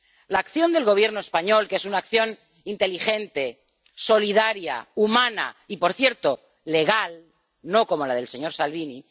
La acción del Gobierno español, que es una acción inteligente, solidaria, humana y, por cierto, legal, no como la del señor Salvini.